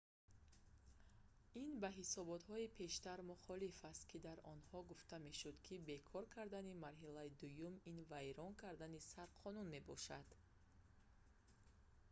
ин ба ҳисоботҳои пештар мухолиф аст ки дар онҳо гуфта мешуд ки бекор кардани марҳилаи дуюм ин вайрон кардани сарқонун мебошад